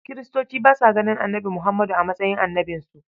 Kiristoci ba sa ganin Annabi Muhammadu a matsayin annabinsu.